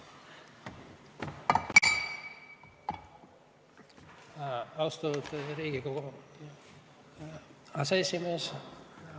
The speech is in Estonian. Austatud Riigikogu aseesimees!